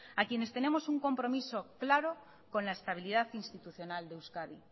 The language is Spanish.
a quienes tenemos un compromiso claro con la estabilidad institucional de euskadi